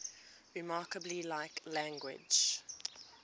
remarkably like language